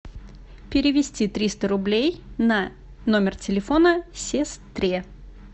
перевести триста рублей на номер телефона сестре